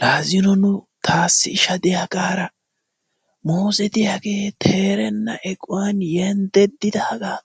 Laa zino nu taassi isha diyaagaara muuze diyaagee teerenna eqquwan yenddeddidaagaa